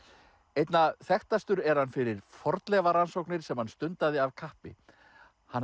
einna þekktastur er hann fyrir fornleifarannsóknir sem hann stundaði af kappi hann